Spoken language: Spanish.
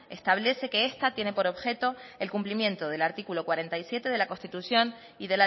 establece que esta tiene por objeto el cumplimiento del artículo cuarenta y siete de la constitución y